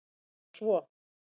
Það var svo